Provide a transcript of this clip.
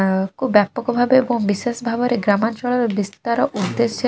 ଆଉ କୋଉ ବ୍ୟାପକ ଭାବେ ଏବଂ ବିଶେଷ ଭାବରେ ଗ୍ରାମାଞ୍ଚଳରେ ବିସ୍ତାର ଉଦ୍ଦେଶ୍ୟ --